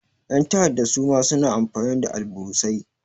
Ƴan ta'adda suma suna amfani da alburusai.